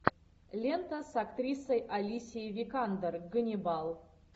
лента с актрисой алисией викандер ганнибал